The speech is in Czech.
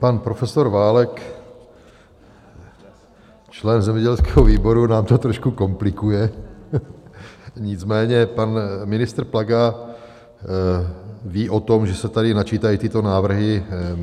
Pan profesor Válek, člen zemědělského výboru, nám to trošku komplikuje, nicméně pan ministr Plaga ví o tom, že se tady načítají tyto návrhy.